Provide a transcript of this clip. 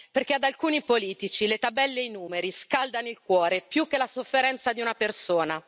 perché ad alcuni politici le tabelle e i numeri scaldano il cuore più che la sofferenza di una persona.